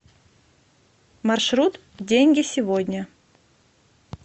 маршрут деньги сегодня